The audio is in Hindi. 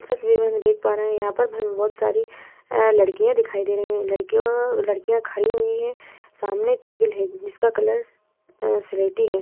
इस तस्वीर में हम देख पा रहे है यहाँ पर हमे बोहत सारी अ लड़कियाँ दिखाई दे रही है लड़कियों लड़कियाँ खड़ी हुई है सामने टेबल है जिसका कलर अ सिलेटी है ।